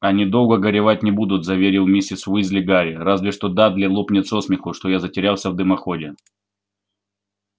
они долго горевать не будут заверил миссис уизли гарри разве что дадли лопнет со смеху что я затерялся в дымоходе